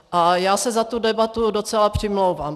A já se za tu debatu docela přimlouvám.